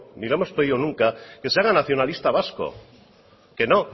ni le hemos pedido nunca que se haga nacionalista vasco que no